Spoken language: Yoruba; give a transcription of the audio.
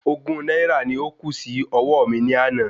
Ogún náírà ni ó kù sí ọwó mi ní àná